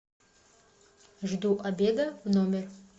жду обеда в номер